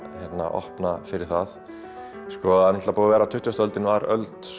opna fyrir það tuttugasta öldin var öld